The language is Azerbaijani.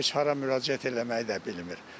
Heç hara müraciət eləməyi də bilmir.